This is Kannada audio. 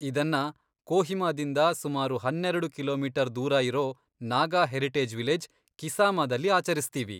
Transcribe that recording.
ಇದನ್ನ ಕೋಹಿಮಾದಿಂದ ಸುಮಾರು ಹನ್ನೆರೆಡು ಕಿಲೋಮೀಟರ್ ದೂರ ಇರೋ ನಾಗಾ ಹೆರಿಟೇಜ್ ವಿಲೇಜ್, ಕಿಸಾಮಾದಲ್ಲಿ ಆಚರಿಸ್ತೀವಿ.